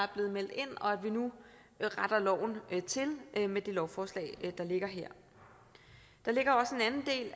blevet meldt ind og at vi nu retter loven til med det lovforslag der ligger her der